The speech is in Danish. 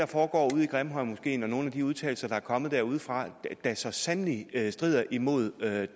foregår ude i grimhøjmoskeen og nogle af de udtalelser der er kommet derudefra da så sandelig strider imod